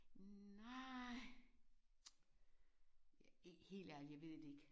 Nej. Helt ærligt jeg ved det ikke